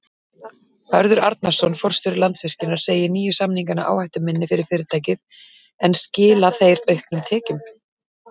Hörður Arnarson, forstjóri Landsvirkjunar segir nýju samningana áhættuminni fyrir fyrirtækið en skila þeir auknum tekjum?